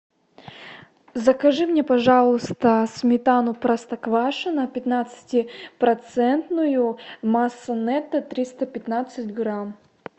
закажи мне пожалуйста сметану простоквашино пятнадцати процентную масса нетто триста пятнадцать грамм